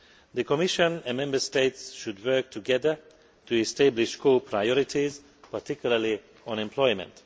The Commission and Member States should work together to establish core priorities, particularly on employment.